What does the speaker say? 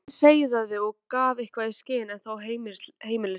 Röddin seiðandi og gaf eitthvað í skyn, en þó heimilisleg.